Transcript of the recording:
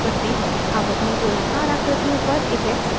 अब अपनी गोलाकार आकृतियों पर effects लागू करते हैं